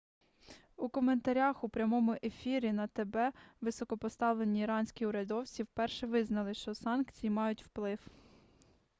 у коментарях у прямому ефірі на тб високопоставлені іранські урядовці вперше визнали що санкції мають вплив